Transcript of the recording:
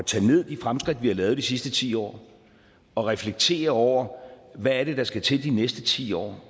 tage ned de fremskridt vi har lavet i de sidste ti år og reflektere over hvad der skal til i de næste ti år